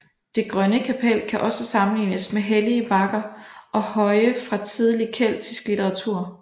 Det Grønne Kapel kan også sammenlignes med hellige bakker og høje fra tidlig keltisk litteratur